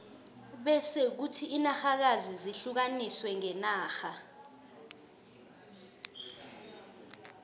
bese kuthi inarhakazi zihlukaniswe ngenarha